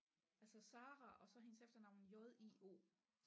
Altså Sara og så hendes efternavn J I O